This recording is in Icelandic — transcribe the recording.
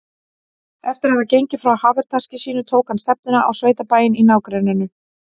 Eftir að hafa gengið frá hafurtaski sínu tók hann stefnuna á sveitabæinn í nágrenninu.